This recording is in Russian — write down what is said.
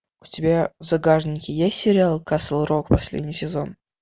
у тебя в загашнике есть сериал касл рок последний сезон